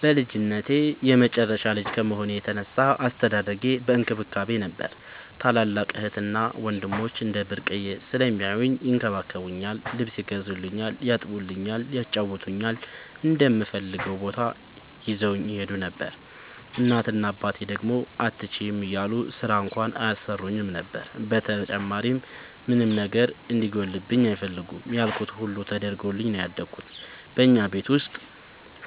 በልጅነቴ የመጨረሻ ልጅ ከመሆኔ የተነሳ አስተዳደጌ በእንክብካቤ ነበር። ታላላቅ እህትና ወንድሞቸ እንደ ብርቅየ ስለሚያውኝ ይንከባከቡኛል ,ልብስ ይገዙልኛል ,ያጥቡኛል ,ያጫውቱኛል, እምፈልገውም ቦታ ይዘውኝ ይሄዱ ነበር። እናት እና አባቴ ደግሞ አትችይም እያሉ ስራ እንኳን አያሰሩኝም ነበር። በተጨማሪም ምንም ነገር እንዲጎልብኝ አይፈልጉም ያልኩት ሁሉ ተደርጎልኝ ነው ያደኩት። በኛ ቤት ውስጥ